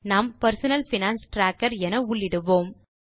நாம் personal finance tracker என உள்ளிடுகிறோம்